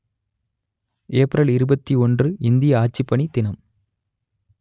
April இருபத்தி ஒன்று இந்திய ஆட்சிப்பணி தினம்